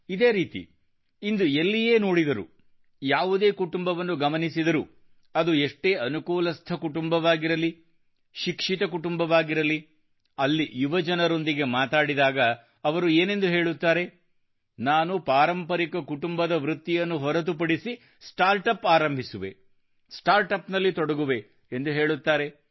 ಇದೇ ರೀತಿ ಇಂದು ಎಲ್ಲಿಯೇ ನೋಡಿದರೂ ಯಾವುದೇ ಕುಟುಂಬವನ್ನು ಗಮನಿಸಿದರೂ ಅದು ಎಷ್ಟೇ ಅನುಕೂಲಸ್ಥ ಕುಟುಂಬವಾಗಿರಲಿ ಶಿಕ್ಷಿತ ಕುಟುಂಬವಾಗಿರಲಿ ಅಲ್ಲಿ ಯುವಜನರೊಂದಿಗೆ ಮಾತಾಡಿದಲ್ಲಿ ಅವರು ಏನೆಂದು ಹೇಳುತ್ತಾರೆ ನಾನು ಪಾರಂಪರಿಕ ಕುಟುಂಬದ ವೃತ್ತಿಯನ್ನು ಹೊರತುಪಡಿಸಿ ಸ್ಟಾರ್ಟ್ ಅಪ್ ಆರಂಭಿಸುವೆ ಸ್ಟಾರ್ಟ್ ಅಪ್ ನಲ್ಲಿ ತೊಡಗುವೆ ಎಂದು ಹೇಳುತ್ತಾರೆ